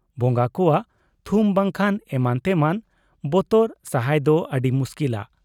ᱵᱚᱝᱜᱟ ᱠᱚᱣᱟᱜ ᱛᱷᱩᱢ ᱵᱟᱝᱠᱷᱟᱱ ᱮᱢᱟᱱ ᱛᱮᱢᱟᱱ ᱵᱚᱛᱚᱨ ᱥᱟᱦᱟᱭ ᱫᱚ ᱟᱹᱰᱤ ᱢᱩᱥᱠᱤᱞᱟ ᱾